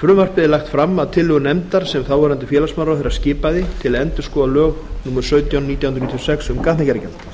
frumvarpið er lagt fram að tillögu nefndar sem þáv félagsmálaráðherra skipaði til að endurskoða lög númer sautján nítján hundruð níutíu og sex um gatnagerðargjald